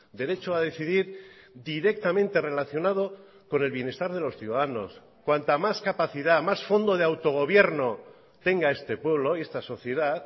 derecho a decidir directamente relacionado con el bienestar de los ciudadanos cuanta más capacidad más fondo de autogobierno tenga este pueblo y esta sociedad